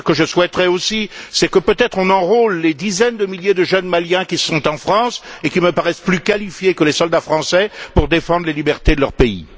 Mais ce que je souhaiterais aussi, c'est que, peut être, on enrôle les dizaines de milliers de jeunes Maliens qui sont en France et qui me paraissent plus qualifiés que les soldats français pour défendre les libertés de leur pays.